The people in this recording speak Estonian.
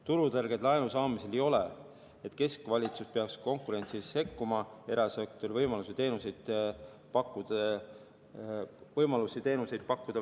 Turutõrget laenu saamisel ei ole, et keskvalitsus peaks konkurentsi sekkuma ja vähendama erasektori võimalusi teenuseid pakkuda.